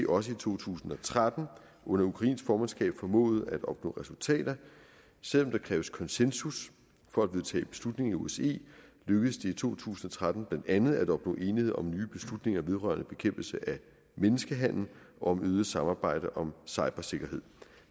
også i to tusind og tretten under ukrainsk formandskab formået at opnå resultater selv om der kræves konsensus for at vedtage beslutninger i osce lykkedes det i to tusind og tretten blandt andet at opnå enighed om nye beslutninger vedrørende bekæmpelse af menneskehandel og om øget samarbejde om cybersikkerhed